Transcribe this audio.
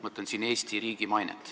Mõtlen siin Eesti riigi mainet.